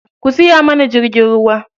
Ku siya mana jirgin ruwa.